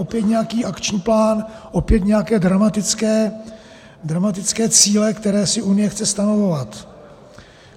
Opět nějaký akční plán, opět nějaké dramatické cíle, které si Unie chce stanovovat.